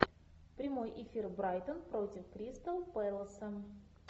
прямой эфир брайтон против кристал пэласа